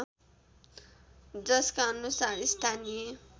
जसका अनुसार स्थानीय